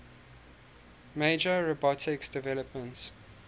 major robotics developments